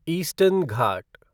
eastern Ghat